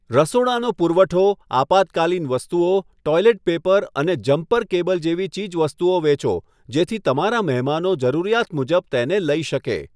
રસોડાનો પુરવઠો, આપાતકાલીન વસ્તુઓ, ટૉઇલેટ પેપર અને જમ્પર કેબલ જેવી ચીજવસ્તુઓ વેચો જેથી તમારા મહેમાનો જરૂરિયાત મુજબ તેને લઈ શકે.